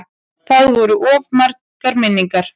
Það voru of margar minningar.